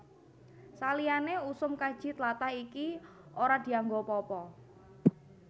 Saliyané usum kaji tlatah iki ora dianggo apa apa